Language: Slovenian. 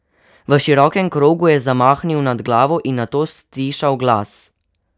V širokem krogu je zamahnil nad glavo in nato stišal glas.